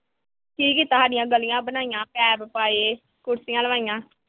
ਕੀ ਕੀਤਾ, ਸਾਡੀਆਂ ਗਲੀਆਂ ਬਣਵਾਈਆਂ, ਪਾਈਪ ਪਾਏ, ਕੁਰਸੀਆਂ ਲਵਾਈਆਂ।